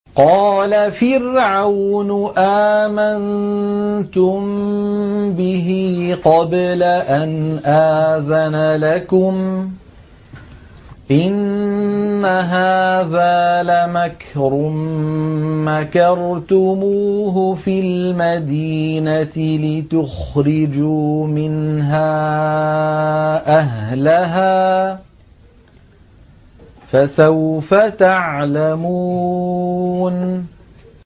قَالَ فِرْعَوْنُ آمَنتُم بِهِ قَبْلَ أَنْ آذَنَ لَكُمْ ۖ إِنَّ هَٰذَا لَمَكْرٌ مَّكَرْتُمُوهُ فِي الْمَدِينَةِ لِتُخْرِجُوا مِنْهَا أَهْلَهَا ۖ فَسَوْفَ تَعْلَمُونَ